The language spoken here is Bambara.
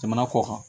Jamana kɔ kan